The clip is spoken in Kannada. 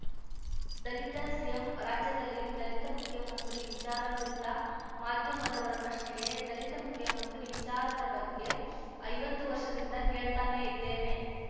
ದಲಿತ ಸಿಎಂ ರಾಜ್ಯದಲ್ಲಿ ದಲಿತ ಮುಖ್ಯಮಂತ್ರಿ ವಿಚಾರ ಕುರಿತ ಮಾಧ್ಯಮದವರ ಪ್ರಶ್ನೆಗೆ ದಲಿತ ಮುಖ್ಯಮಂತ್ರಿ ವಿಚಾರದ ಬಗ್ಗೆ ಐವತ್ತು ವರ್ಷದಿಂದ ಕೇಳ್ತಾನೇ ಇದ್ದೇನೆ